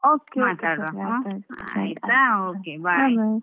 Okay okay.